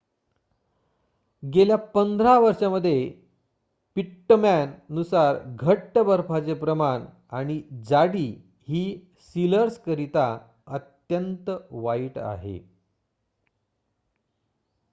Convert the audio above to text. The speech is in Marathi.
गेल्या 15 वर्षांमध्ये पिट्टमॅन नुसार घट्ट बर्फाचे प्रमाण आणि जाडी ही सिलर्स करिता अत्यंत वाईट आहे